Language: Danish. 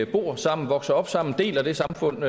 bor sammen vokser op sammen deler det samfund